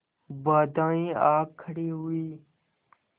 बाधाऍं आ खड़ी हुई